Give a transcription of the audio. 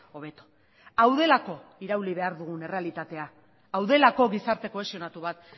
hobeto hau delako irauli behar dugun errealitatea hau delako gizarte kohesionatu bat